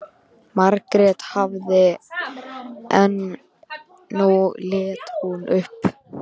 Margrét hafði þagað en nú leit hún upp.